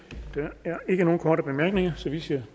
synes jeg